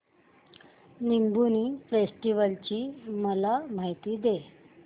Lumbini festival ची मला माहिती दे